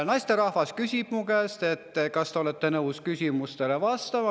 Naisterahvas küsis mu käest: "Kas te olete nõus küsimustele vastama?